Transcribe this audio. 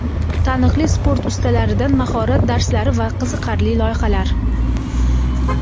taniqli sport ustalaridan mahorat darslari va qiziqarli loyihalar!.